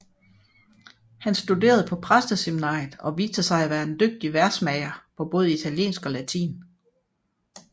Han studerede på præsteseminariet og viste sig at være en dygtig versmager på både italiensk og latin